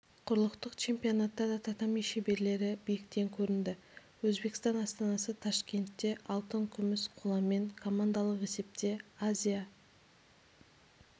құрлықтық чемпионатта да татами шеберлері биіктен көрінді өзбекстан астанасы ташкентте алтын күміс қоламен командалық есепте азия